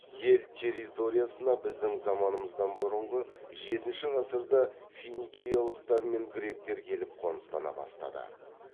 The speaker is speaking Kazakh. ел территориясына біздің заманымыздан бұрынғы жетінші ғасырда финикиялықтар мен гректер келіп қоныстана бастады